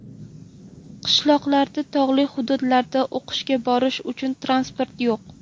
Qishloqlarda, tog‘li hududlarda o‘qishga borish uchun transport yo‘q.